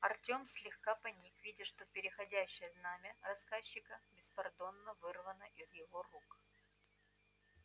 артём слегка поник видя что переходящее знамя рассказчика беспардонно вырвано из его рук